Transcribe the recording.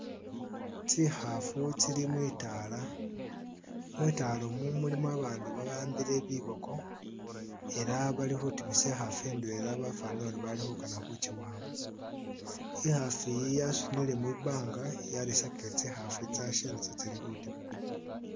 Tsikhafu tsili mwitala, mwitala muno mulimo abandu baambile biboko elah balikhutimisa ikhafu indwela bafanile uri balikhukana khukyiwamba ikhafu yi yesunile mwimbanga yarisakile tsikhafu tsitsase tsi tsili khutima